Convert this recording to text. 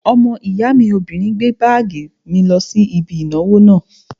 Ọmọ ìyá obìnrin gbé báàgì mi lọ sí ibi ìnáwó náà